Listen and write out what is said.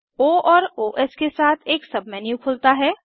ओ और ओएस के साथ एक सबमेन्यू खुलता है